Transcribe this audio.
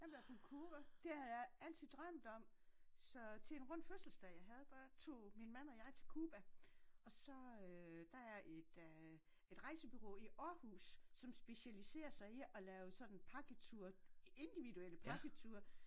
Jeg har været på Cuba. Det havde jeg altid drømt om så til en rund fødselsdag jeg havde der tog min mand og jeg til Cuba og så øh der er et øh et rejsebureau i Århus som specialiserer sig i at lave sådan pakketure individuelle pakketure